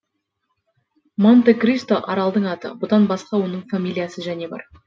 монте кристо аралдың аты бұдан басқа оның фамилиясы және бар